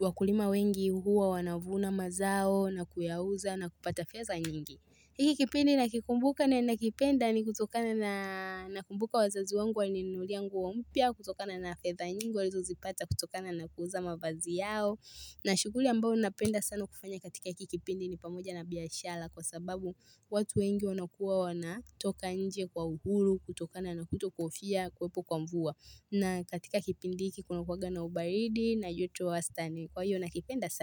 wakulima wengi huwa wanavuna mazao na kuyauza na kupata fedha nyingi hiki kipindi nakikumbuka na nakipenda ni kutokana na nakumbuka wazazi wangu walininunulia nguo mpya, kutokana na fedha nyingi walizo lzipata, kutokana na kuuza mavazi yao na shughuli ambayo napenda sana kufanya katika hiki kipindi ni pamoja na biashara kwa sababu watu wengi wanakuwa wanatoka nje kwa uhuru, kutokana na kutokuhofia, kuwepo kwa mvua na katika kipindi hiki kuna kuwanga na ubaridi na joto wa wastani, kwa hiyo nakipenda sana.